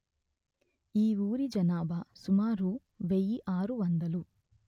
ఈ ఊరి జనాభా సుమారు వెయ్యి ఆరు వందలు